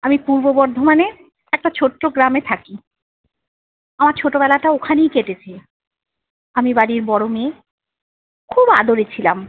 আমি পূর্ব বর্ধমানে একটা ছোট্ট গ্রামে থাকি আমার ছোট বেলাটা ওখানেই কেটেছে। আমি বাড়ির বড়ো মেয়ে। খুব আদোরে ছিলাম।